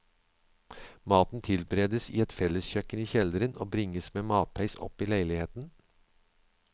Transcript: Maten tilberedes i et felleskjøkken i kjelleren og bringes med matheis opp i leiligheten.